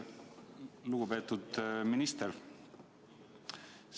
Lugupeetud minister!